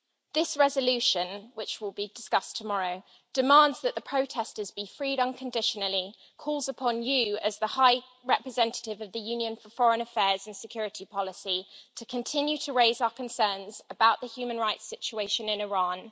This resolution, which will be discussed tomorrow, demands that the protesters be freed unconditionally calls upon you, Mr Borrell Fontelles, as the High Representative of the Union for Foreign Affairs and Security Policy, to continue to raise our concerns about the human rights situation in Iran